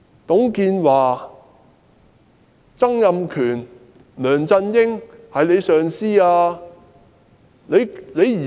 董建華、曾蔭權、梁振英曾是她的上司。